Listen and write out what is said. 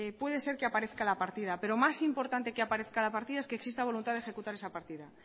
puede ser que aparezca la partida pero más importante que aparezca la partida es que exista voluntad de ejecutar esa partida